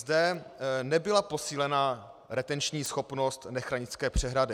Zde nebyla posílena retenční schopnost Nechranické přehrady.